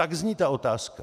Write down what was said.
Tak zní ta otázka.